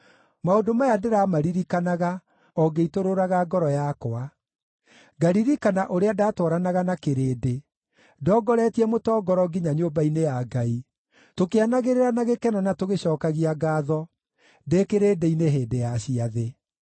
Maũndũ maya ndĩmaririkanaga o ngĩitũrũraga ngoro yakwa: ngaririkana ũrĩa ndatwaranaga na kĩrĩndĩ, ndongoretie mũtongoro nginya nyũmba-inĩ ya Ngai, tũkĩanagĩrĩra na gĩkeno na tũgĩcookagia ngaatho, ndĩ kĩrĩndĩ-inĩ hĩndĩ ya ciathĩ.